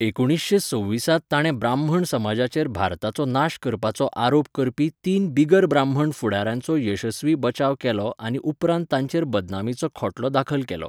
एकुणीसशें सव्वीसांत ताणें ब्राह्मण समाजाचेर भारताचो नाश करपाचो आरोप करपी तीन बिगर ब्राह्मण फुडाऱ्यांचो येसस्वी बचाव केलो आनी उपरांत तांचेर बदनामीचो खटलो दाखल केलो.